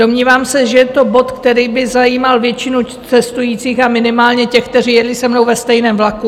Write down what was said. Domnívám se, že je to bod, který by zajímal většinu cestujících a minimálně těch, kteří jeli se mnou ve stejném vlaku.